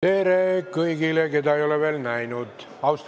Tere kõigile, keda ei ole veel näinud!